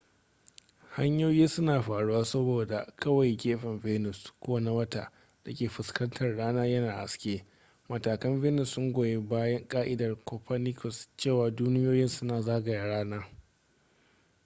hanyoyi suna faruwa saboda kawai gefen venus ko na wata da ke fuskantar rana yana haske. matakan venus sun goyi bayan ka'idar copernicus cewa duniyoyin suna zagaya rana